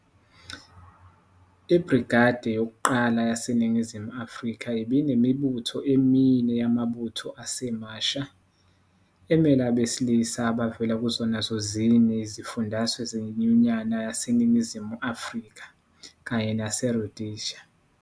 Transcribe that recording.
IBrigade yokuqala yaseNingizimu Afrika ibinemibutho emine yamabutho asemasha, emele abesilisa abavela kuzona zozine izifundazwe zeNyunyana yaseNingizimu Afrika, kanye naseRhodesia.